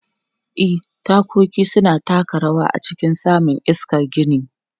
E, tagogi suna taka rawa a cikin samun iskar gini.